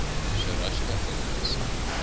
sharashka inmates